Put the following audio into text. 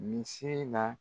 Muse in na